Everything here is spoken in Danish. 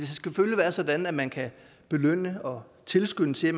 selvfølgelig være sådan at man kan belønne og tilskynde til at